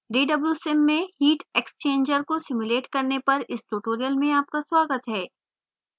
dwsim में heat exchanger को simulate करने पर इस tutorial में आपका स्वागत है